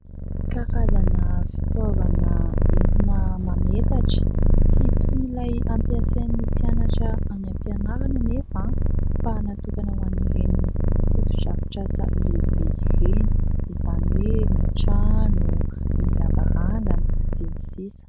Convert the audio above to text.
Karazana fitaovana entina mametatra, tsy toy ilay ampiasain'ny mpianatra any am-pianarana anefa fa natokana ho an'ireny foto-drafitrasa lehibe ireny, izany hoe ny trano, ny lavarangana sy ny sisa.